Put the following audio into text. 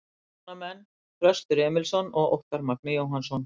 Umsjónarmenn: Þröstur Emilsson og Óttarr Magni Jóhannsson